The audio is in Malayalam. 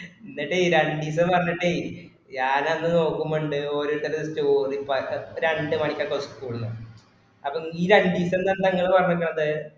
എന്നിട്ടേ രണ്ടുംവന്നിട്ടേ ഓരോർത്തരുടെ story പാടേ അപ്പൊ രണ്ടുമണിക്ക് ഒക്കെ school ന്ന് അപോ ഈ രണ്ടീസം ന്ന് ഇങ്ങളെന്താ പറഞ്ഞീക്കണത്